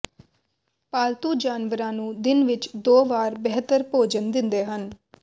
ਪਾਲਤੂ ਜਾਨਵਰਾਂ ਨੂੰ ਦਿਨ ਵਿੱਚ ਦੋ ਵਾਰ ਬਿਹਤਰ ਭੋਜਨ ਦਿੰਦੇ ਹਨ